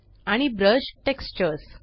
आणि brush textures